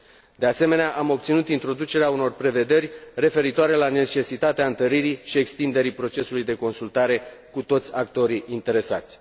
De asemenea, am obținut introducerea unor prevederi referitoare la necesitatea întăririi și extinderii procesului de consultare cu toți actorii interesați.